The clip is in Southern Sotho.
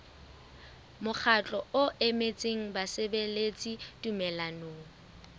mokgatlo o emetseng basebeletsi tumellanong